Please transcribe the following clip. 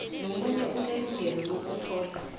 nomunye unelungelo lokuthola